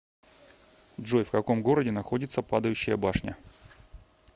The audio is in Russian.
джой в каком городе находится падающая башня